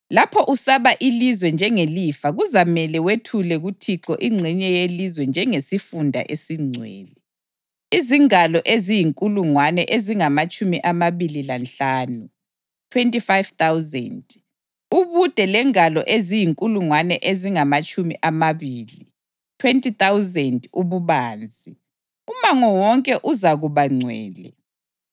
“ ‘Lapho usaba ilizwe njengelifa kuzamela wethule kuThixo ingxenye yelizwe njengesifunda esingcwele, izingalo eziyinkulungwane ezingamatshumi amabili lanhlanu (25,000) ubude lengalo eziyinkulungwane ezingamatshumi amabili (20,000) ububanzi; umango wonke uzakuba ngcwele.